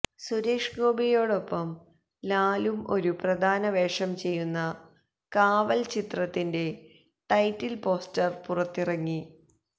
സുരേഷ് ഗോപിയോടൊപ്പം ലാലും ഒരു പ്രധാന വേഷം ചെയ്യുന്ന കാവൽ ചിത്രത്തിന്റെ ടൈറ്റിൽ പോസ്റ്റർ പുറത്തിറങ്ങി